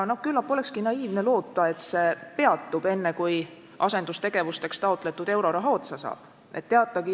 Küllap olekski naiivne loota, et see peatub enne, kui asendustegevusteks taotletud euroraha otsa saab.